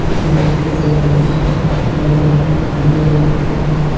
इस रूम के दरवाजे तथा अलमारी भूरे रंग के हैं।